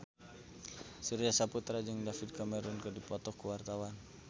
Surya Saputra jeung David Cameron keur dipoto ku wartawan